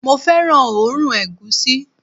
mo fẹràn oòrùn egusi